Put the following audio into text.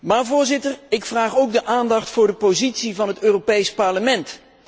Maar, voorzitter, ik vraag ook aandacht voor de positie van het Europees Parlement.